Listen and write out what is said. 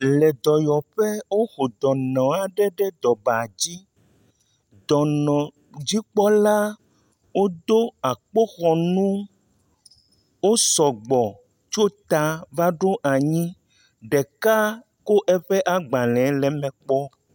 Le dɔwɔƒe, wo ƒo dɔnɔ aɖe ɖe ɖɔ na dzi. Dɔnɔdzikpɔlawo do akpoxɔnu wu. Wo sɔgbɔ va ɖo eya kple anyi. Ɖeka kɔ agbalẽ le eme kpɔm.